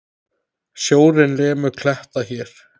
Sjórinn lemur kletta hér.